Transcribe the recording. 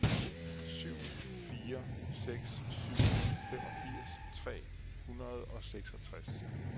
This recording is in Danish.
syv fire seks syv femogfirs tre hundrede og seksogtres